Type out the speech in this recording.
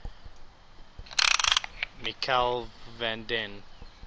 michiel van den